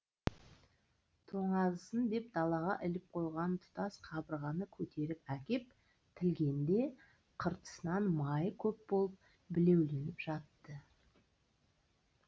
тоңазысын деп далаға іліп қойған тұтас қабырғаны көтеріп әкеп тілгенде қыртысынан майы көп болып білеуленіп жатты